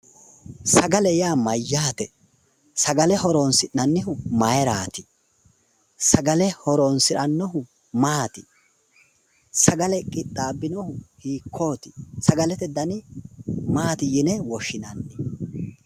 Sagale yaa mayyaate? sagale horonsi'nannihu maayiiraati? agale horonsi'nannihu maati? sagale qixxaabbinohu hiikkooti? sagalete dani maati yine woshshinanni?